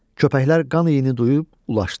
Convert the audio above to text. Köpəklər qan iyini duyub ulaşdılar.